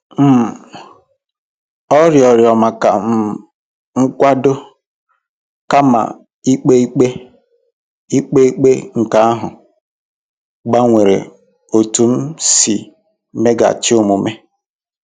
um Ọ rịọrọ maka um nkwado kama ikpe ikpe, ikpe ikpe, nke ahụ gbanwere otú m si meghachi omume.